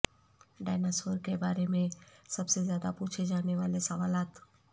dinosaur کے بارے میں سب سے زیادہ پوچھے جانے والے سوالات